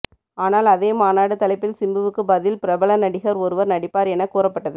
ஆனால் அதே மாநாடு தலைப்பில் சிம்புவுக்கு பதில் பிரபல நடிகர் ஒருவர் நடிப்பார் என கூறப்பட்டது